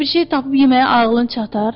Yəni bir şey tapıb yeməyə ağlın çatar?